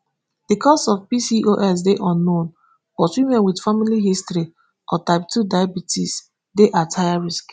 di cause of pcos dey unknown but women wit family history or type two diabetes dey at higher risk